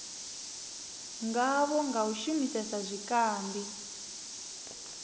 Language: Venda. ngavho nga u shumisesa zwikambi